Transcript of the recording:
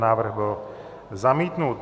Návrh byl zamítnut.